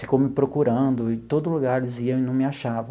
Ficou me procurando em todo lugar, dizia, e não me achava.